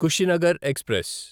Kushinagar express